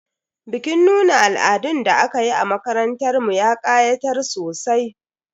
Bikin nuna al'adun da aka yi a makarantar mu ya ƙayatar sosai.